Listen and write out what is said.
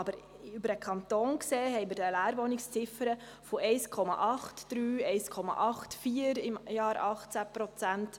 Über den Kanton gesehen besteht eine Leerwohnungsziffer von 1,83 Prozent im Jahr 2018.